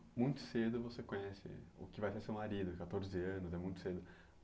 E aí muito cedo você conhece o que vai ser seu marido, quatorze anos, é muito cedo.